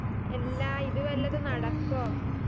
എല്ലാ ഇതുവല്ലതും നടക്കോ